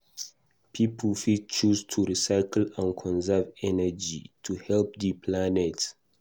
Pipo fit choose to recycle and conserve energy to help di planet.